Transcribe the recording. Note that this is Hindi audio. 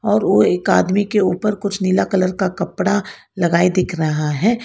और ओ एक आदमी के ऊपर कुछ नीला कलर का कपड़ा लगाए दिख रहा है।